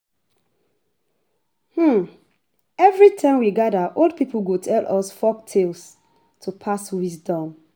Every time we gather, old people go tell us folktales to pass wisdom.